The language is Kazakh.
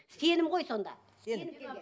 сенім ғой сонда